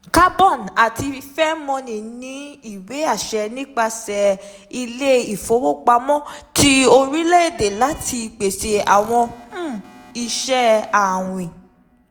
Carbon àti Fairmoney ní ìwé-àṣẹ nípasẹ̀ Ilé ìfowópamọ́ ti orílẹ̀-èdè láti pèsè àwọn um iṣẹ́ àwìn.